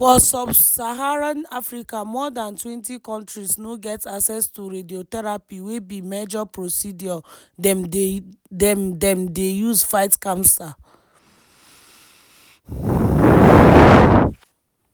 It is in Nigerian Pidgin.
for sub-saharan africa more dantwentykontris no get access to radiotherapy wey be major procedure dem dem dey use fight cancer.